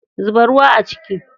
Zuba ruwa a ciki.